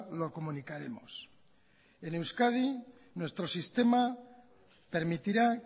lo comunicaremos en euskadi nuestro sistema permitirá